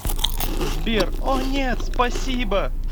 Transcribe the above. сбер о нет спасибо